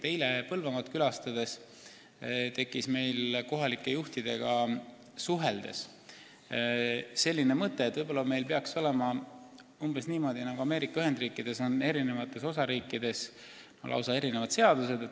Eile Põlvamaad külastades tekkis meil kohalike juhtidega suheldes selline mõte, et võib-olla meil peaks olema umbes samamoodi, nagu on Ameerika Ühendriikides: eri osariikides on lausa erinevad seadused.